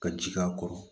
Ka ji k'a kɔrɔ